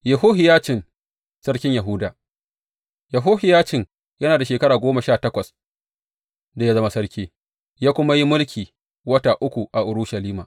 Yehohiyacin sarkin Yahuda Yehohiyacin yana da shekara goma sha takwas da ya zama sarki, ya kuma yi mulki wata uku a Urushalima.